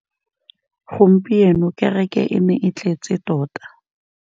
Gompieno kêrêkê e ne e tletse tota.